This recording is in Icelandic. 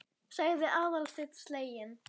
sagði Aðalsteinn sleginn.